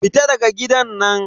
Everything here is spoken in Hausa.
Fita daga gidan nan.